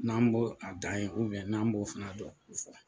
N'an b'o a dan ye n'an b'o fana dɔn k'u fɔ.